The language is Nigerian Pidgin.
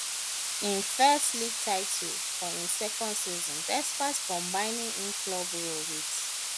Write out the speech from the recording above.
im first league title for im second season despite combining im club role wit